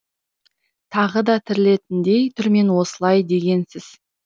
тағы да тірілетіндей түрмен осылай дегенсіз